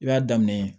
I b'a daminɛ